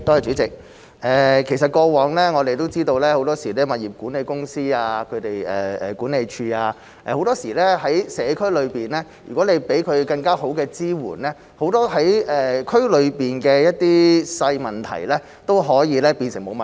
主席，其實過往我們都知道，很多時如果向社區內的物業管理公司、管理處提供更好的支援，很多區內的小問題都可以變成沒有問題。